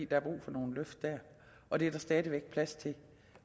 der er brug for nogle løft der og det er der stadig væk plads til